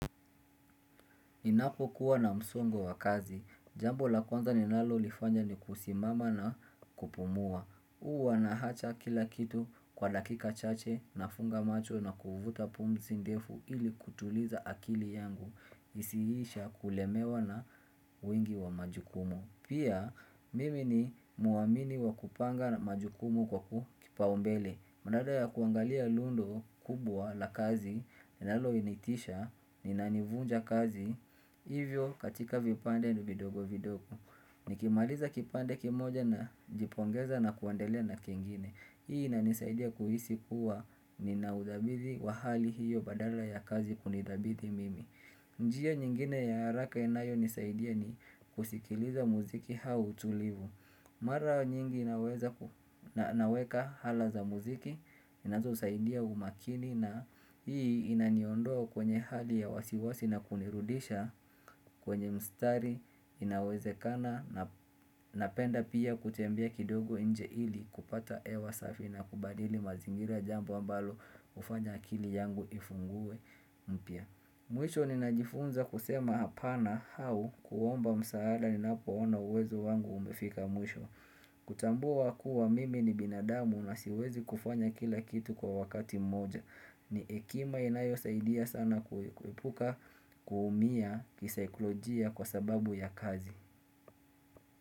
Ninapokuwa na msongo wa kazi. Jambo la kwanza ninalolifanya ni kusimama na kupumua. Huwa naacha kila kitu kwa dakika chache nafunga macho na kuvuta pumzi ndefu ili kutuliza akili yangu. Isihisha kulemewa na wengi wa majukumu. Pia mimi ni mwamini wa kupanga majukumu kwa ku kipaumbele. Badala ya kuangalia lundo kubwa la kazi, linalonitisha, na inanivunja kazi, hivyo katika vipande vidogo vidogo. Nikimaliza kipande kimoja najipongeza na kuendelea na kengine. Hii inanisaidia kuhisi kuwa nina udhabiti wa hali hiyo badala ya kazi kunidhabiti mimi. Njia nyingine ya haraka inayonisaidia ni kusikiliza muziki au utulivu. Mara nyingi naweka ala za muziki, zinazosaidia umakini na hii inaniondoa kwenye hali ya wasiwasi na kunirudisha kwenye mstari inawezekana napenda pia kutembea kidogo nje ili kupata ewa safi na kubadili mazingira, jambo ambalo hufanya akili yangu ifungue mpya. Mwisho ninajifunza kusema hapana au kuomba msaada ninapoona uwezo wangu umefika mwisho kutambua kuwa mimi ni binadamu na siwezi kufanya kila kitu kwa wakati mmoja. Ni hekima inayosaidia sana kuepuka kuumia kisaikolojia kwa sababu ya kazi.